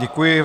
Děkuji.